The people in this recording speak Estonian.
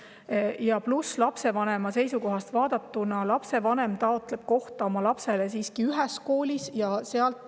Pluss veel see, et kui me lapsevanema seisukohast vaatame, siis lapsevanem taotleb lapsele kohta siiski ühes koolis.